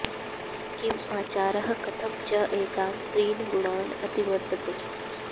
किम् आचारः कथम् च एतान् त्रीन् गुणान् अतिवर्तते